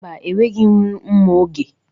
Mba, enwedịghi m ri mma oge.